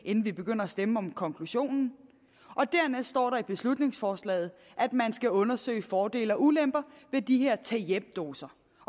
inden vi begynder at stemme om konklusionen dernæst står der i beslutningsforslaget at man skal undersøge fordele og ulemper ved de her tag hjem doser